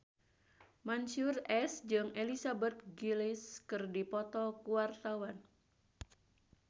Mansyur S jeung Elizabeth Gillies keur dipoto ku wartawan